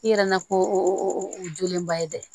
I yɛrɛ nakun o ye jolenba ye dɛ